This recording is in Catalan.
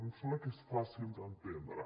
em sembla que és fàcil d’entendre